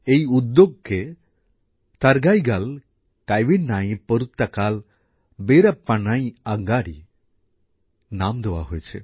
এই উদ্যোগকে থারগাইগাল কায়ভিনাই পোরুত্তকল বিরপ্পনই আঁগাড়ী নাম দেওয়া হয়েছে